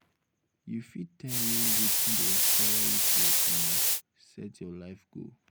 you fit tell me um wetin dey inspire you to um set your um life goal?